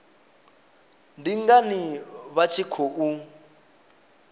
ndi ngani vha tshi khou